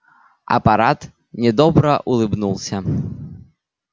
аппарат недобро улыбнулся